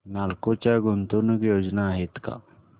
नालको च्या गुंतवणूक योजना आहेत का